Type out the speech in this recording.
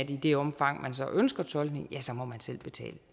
i det omfang man så ønsker tolkning selv må betale